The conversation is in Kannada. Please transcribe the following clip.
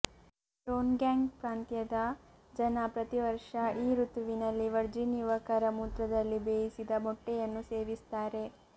ಡೋನ್ಗ್ಯಂಗ್ ಪ್ರಾಂತ್ಯದ ಜನ ಪ್ರತಿವರ್ಷ ಈ ಋತುವಿನಲ್ಲಿ ವರ್ಜಿನ್ ಯುವಕರ ಮೂತ್ರದಲ್ಲಿ ಬೇಯಿಸಿದ ಮೊಟ್ಟೆಯನ್ನು ಸೇವಿಸ್ತಾರೆ